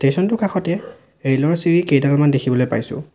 Station টোৰ কাষতে rail ৰ চিৰি কেইডালমান দেখিবলৈ পাইছোঁ।